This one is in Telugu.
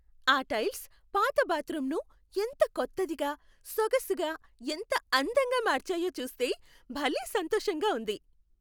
ఆ టైల్స్ పాత బాత్రూమ్ను ఎంత కొత్తదిగా, సొగసుగా, ఎంత అందంగా మార్చాయో చూస్తే భలే సంతోషంగా ఉంది.